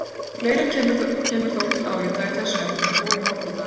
Fleira kemur þó til álita í þessu efni, og í Morgunblaðinu